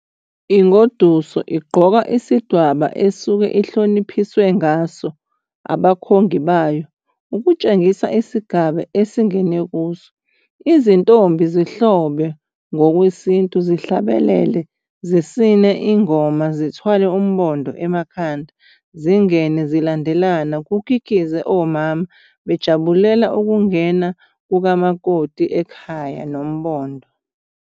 Ingoduso igqoka isidwaba esuke ihloniphiswe ngaso abakhongi bayo ukutshengisa isigaba esengene kuso. Izintombi zihlobe ngokwesintu zihlabelele zisine ingoma zithwala umbondo emakhanda zingene zilandelana kukikize omama bejabulela ukungena kukamakoti ekhaya nombondo.